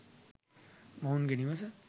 මොවුන්ගේ නිවස